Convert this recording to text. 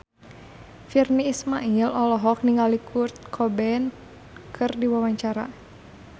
Virnie Ismail olohok ningali Kurt Cobain keur diwawancara